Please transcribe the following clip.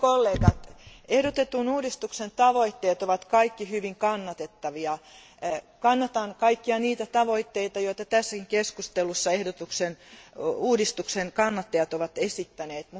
Arvoisa puhemies, ehdotetun uudistuksen tavoitteet ovat kaikki hyvin kannatettavia. Kannatan kaikkia niitä tavoitteita, joita tässäkin keskustelussa uudistuksen kannattajat ovat esittäneet.